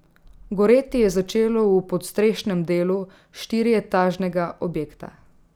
Goreti je začelo v podstrešnem delu štirietažnega objekta.